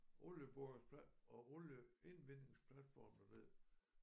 Olieborings plat og olieindvindingsplatforme ved